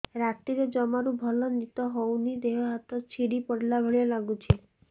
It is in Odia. ରାତିରେ ଜମାରୁ ଭଲ ନିଦ ହଉନି ଦେହ ହାତ ଛିଡି ପଡିଲା ଭଳିଆ ଲାଗୁଚି